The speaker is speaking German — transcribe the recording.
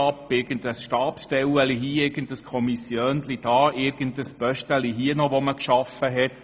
Es gibt hier eine Stabstelle und da ein Kommissiönchen oder ein Pöstchen, welche man irgendwann geschaffen hat.